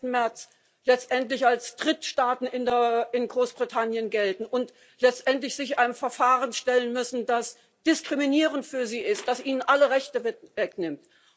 30. März letztendlich als Drittstaatsangehörige in Großbritannien gelten und sich letztendlich einem Verfahren stellen müssen, das diskriminierend für sie ist, das ihnen alle Rechte wegnimmt.